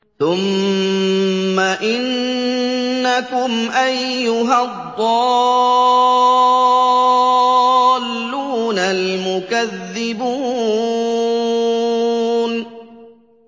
ثُمَّ إِنَّكُمْ أَيُّهَا الضَّالُّونَ الْمُكَذِّبُونَ